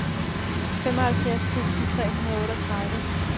femoghalvfjerds tusind tre hundrede og otteogtredive